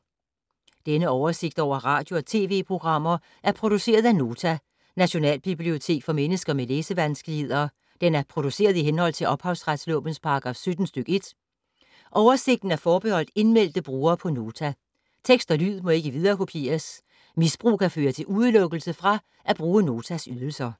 Denne oversigt over radio og TV-programmer er produceret af Nota, Nationalbibliotek for mennesker med læsevanskeligheder. Den er produceret i henhold til ophavsretslovens paragraf 17 stk. 1. Oversigten er forbeholdt indmeldte brugere på Nota. Tekst og lyd må ikke viderekopieres. Misbrug kan medføre udelukkelse fra at bruge Notas ydelser.